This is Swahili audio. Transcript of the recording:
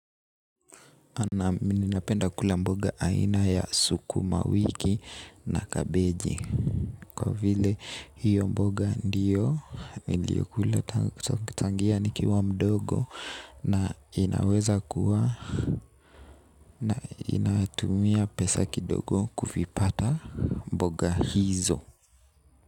Naam mimi napenda kula mboga aina ya sukuma wiki na kabeji. Kwa vile hiyo mboga ndiyo niliyokula tangia nikiwa mdogo. Na inaweza kuwa na inatumia pesa kidogo kuvipata mboga hizo.